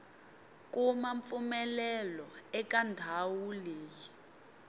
kuma mpfumelelo eka ndhawu leyi